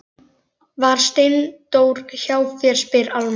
Var Steindór hjá þér, spyr Alma.